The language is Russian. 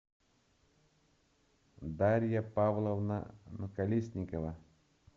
дарья павловна колесникова